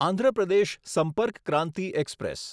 Andhra Pradesh Sampark Kranti express